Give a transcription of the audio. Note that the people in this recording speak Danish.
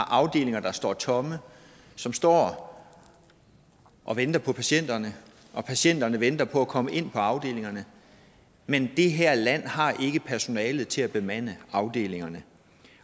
afdelinger der står tomme som står og venter på patienterne og patienterne venter på at komme ind på afdelingerne men det her land har ikke personale til at bemande afdelingerne